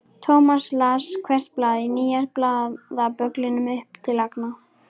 Thomas las hvert blað í nýja blaðabögglinum upp til agna.